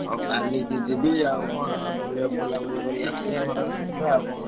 ହଁ କାଲି କି ଯିବି ଆଉ କଣ ବୁ ବୁଲାବୁଲି କରି ଆସିଆ ଘର ଆଡୁ ଯିବା ଆଉ କଣ।